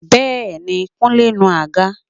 Bẹ́ẹ̀ni, Kúnlé ń nu àga